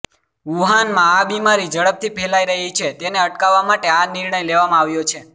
વુહાનમાં આ બિમારી ઝડપથી ફેલાઈ રહી છે તેને અટકાવવા માટે આ નિર્ણય લેવામાં આવ્યો છે